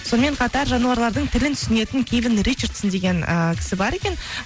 сонымен қатар жануарлардың тілін түсінетін кевин ричардсон деген ыыы кісі бар екен